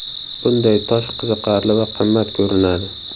Bunday tosh qiziqarli va qimmat ko‘rinadi.